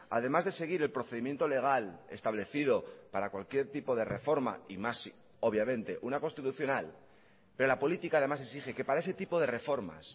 además de seguir el procedimiento legal establecido para cualquier tipo de reforma y más obviamente una constitucional pero la política además exige que para ese tipo de reformas